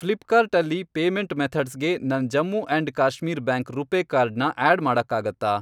ಫ್ಲಿಪ್ಕಾರ್ಟ್ ಅಲ್ಲಿ ಪೇಮೆಂಟ್ ಮೆಥಡ್ಸ್ಗೆ ನನ್ Jammu and Kashmir bank RuPay card ನ ಆಡ್ ಮಾಡಕ್ಕಾಗತ್ತಾ?